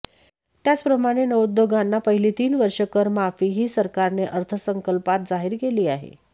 त्याचप्रमाणे नवोद्योगांना पहिली तीन वर्षे करमाफीही सरकारने अर्थसंकल्पात जाहीर केली आहे